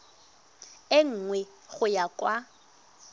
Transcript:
e nngwe go ya kwa